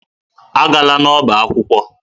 Agala n'ọba akwụkwọ.